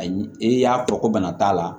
Ayi i y'a fɔ ko bana t'a la